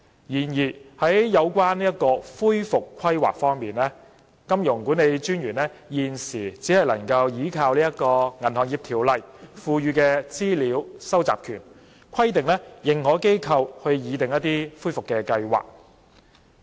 然而，有關恢復規劃方面，金融管理專員現時只可憑藉《銀行業條例》所賦予的資料收集權，規定認可機構擬訂恢復計劃。